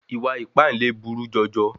Ìwà ìpáǹle buru jọjọ.